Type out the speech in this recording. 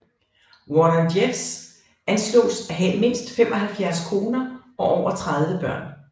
Warren Jeffs anslås at have mindst 75 koner og over 30 børn